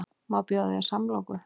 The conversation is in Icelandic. Má bjóða þér samloku?